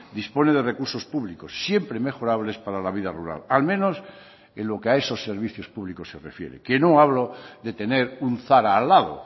dispone de recursos públicos siempre mejorables para la vida rural al menos en lo que a esos servicios públicos se refiere que no hablo de tener un zara al lado